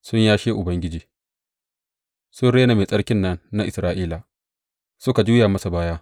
Sun yashe Ubangiji; sun rena Mai Tsarkin nan na Isra’ila suka juya masa baya.